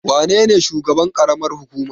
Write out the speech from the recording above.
Wa nene shugaban ƙaramar hukuma?